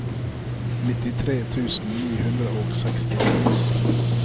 nittitre tusen ni hundre og sekstiseks